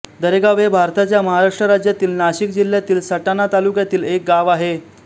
दरेगाव हे भारताच्या महाराष्ट्र राज्यातील नाशिक जिल्ह्यातील सटाणा तालुक्यातील एक गाव आहे